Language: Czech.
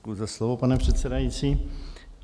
Děkuju za slovo, pane předsedající.